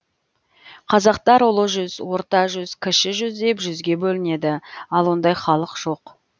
қазақтар ұлы жүз орта жүз кіші жүз деп жүзге бөлінеді ал ондай халық жоқ